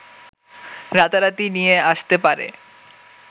রাতারাতি নিয়ে আসতে পারে